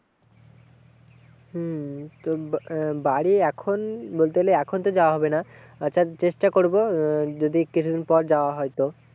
হম তোর বাড়ি এখন বলতে গেলে এখন তো যাওয়া হবে না, আচ্ছা চেষ্টা করবো আহ যদি কিছুদিন পর যাওয়া হয় তো।